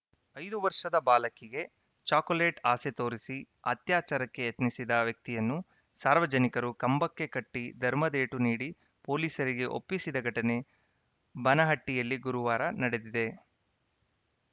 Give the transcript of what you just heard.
ಐದು ವರ್ಷದ ಬಾಲಕಿಗೆ ಚಾಕೋಲೆಟ್‌ ಆಸೆ ತೋರಿಸಿ ಅತ್ಯಾಚಾರಕ್ಕೆ ಯತ್ನಿಸಿದ ವ್ಯಕ್ತಿಯನ್ನು ಸಾರ್ವಜನಿಕರು ಕಂಬಕ್ಕೆ ಕಟ್ಟಿಧರ್ಮದೇಟು ನೀಡಿ ಪೊಲೀಸರಿಗೆ ಒಪ್ಪಿಸಿದ ಘಟನೆ ಬನಹಟ್ಟಿಯಲ್ಲಿ ಗುರುವಾರ ನಡೆದಿದೆ